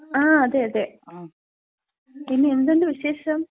ങാ, അതെ. അതെ. പിന്നെ എന്തുണ്ട് വിശേഷം?